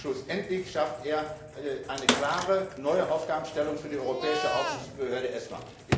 Schlussendlich schafft er eine klare, neue Aufgabenstellung für die Europäische Aufsichtsbehörde ESMA.